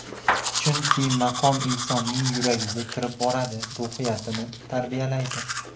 Chunki maqom insonning yuragiga kirib boradi, ruhiyatini tarbiyalaydi.